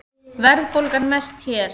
Verðbólgan mest hér